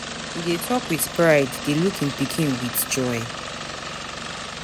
He dey talk with pride dey look im pikin with joy.